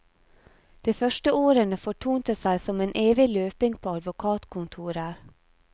De første årene fortonte seg som en evig løping på advokatkontorer.